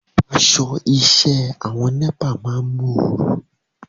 Aṣọ iṣẹ́ àwọn NEPA máa ń móoru